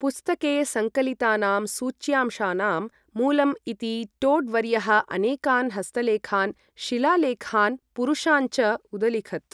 पुस्तके सङ्कलितानां सूच्यंशानां मूलम् इति टोड् वर्यः अनेकान् हस्तलेखान्, शिलालेखान्, पुरुषान् च उदलिखत्।